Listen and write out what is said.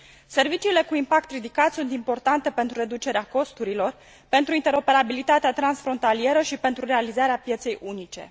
Serviciile cu impact ridicat sunt importante pentru reducerea costurilor, pentru interoperabilitatea transfrontalieră și pentru realizarea pieței unice.